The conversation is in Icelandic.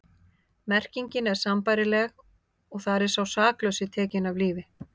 Merkingin er sambærileg og þar er sá saklausi tekinn af lífi.